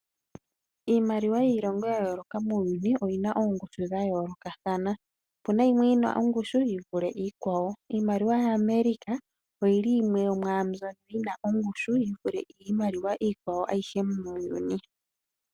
Iimaliwa yilongo ya yooloka muuyuni oyina oongushu dha yoolokathana. Opuna yimwe yinaongushi yivule iikwawo. Iimaliwa yaAmerica oyili yimwe yomambyono yina ongushu yivule iimaliwa iikwawo ayihe muuyuni.